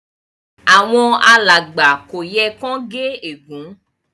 Àwon alàgbà kò yẹ kán gé ègún